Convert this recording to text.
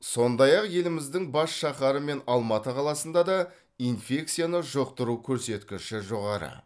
сондай ақ еліміздің бас шаһары мен алматы қаласында да инфекцияны жұқтыру көрсеткіші жоғары